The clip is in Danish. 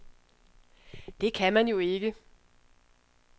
Det kan man jo ikke.